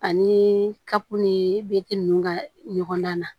Ani kapp ni ninnu ka ɲɔgɔndan na